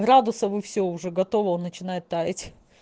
градусов и все уже готово он начинает таять